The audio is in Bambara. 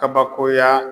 Kabakoya